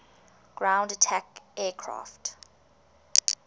ground attack aircraft